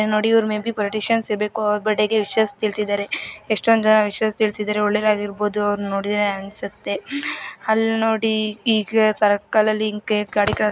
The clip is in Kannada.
ನೋಡಿ ಇವ್ರು ಮೇ ಬಿ ಪೊಲಿಟಿಷಿಯನ್ ಇರ್ಬೇಕು. ಅವ್ರ ಬರ್ತ್ಡೇ ಗೆ ವಿಶಸ್ ತಿಳಿಸಿದ್ದಾರೆ ಎಷ್ಟೊಂದು ಜನ ವಿಶಸ್ ತಿಳಿಸಿದ್ದಾರೆ. ಒಳ್ಳೆಯವರಾಗಿರಬಹುದು ಅವರು ನೋಡಿದ್ರೆ ಅನ್ಸುತ್ತೆ. ಅಲ್ನೋಡಿ ಈಗ ಸರ್ಕಲಲ್ಲಿ